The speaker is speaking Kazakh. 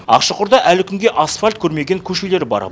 ақшұқырда әлі күнге асфальт көрмеген көшелер бар